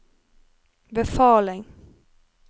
befaling